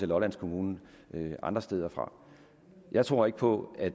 lolland kommune andre steder fra jeg tror ikke på at